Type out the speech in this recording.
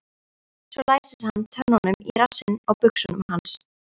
Svo læsir hann tönnunum í rassinn á buxunum hans.